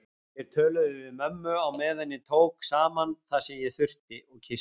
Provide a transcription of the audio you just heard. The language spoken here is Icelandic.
Þeir töluðu við mömmu á meðan ég tók saman það sem ég þurfti og kyssti